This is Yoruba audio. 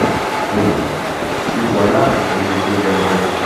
um ipò aláàfin kì í ṣe fún jẹhunjẹhun